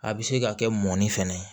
A bɛ se ka kɛ mɔni fɛnɛ ye